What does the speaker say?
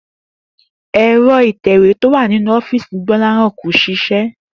È̩ro̩ ìtè̩wé tó wà nínú ó̩fíìsì Gbó̩láhàn kò s̩is̩é̩